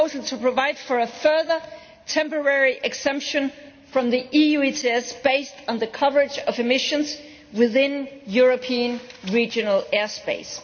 to provide for a further temporary exemption from the EU ETS based on the coverage of emissions within European regional airspace.